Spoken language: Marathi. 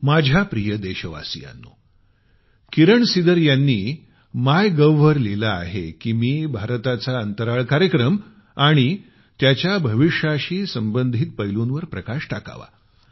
माझ्या प्रिय देशवासियांनो किरण सिदर यांनी माय गव्ह वर लिहिल आहे की मी भारताचा अंतराळ कार्यक्रम आणि त्याच्या भविष्याशी संबंधित पैलूंवर प्रकाश टाकावा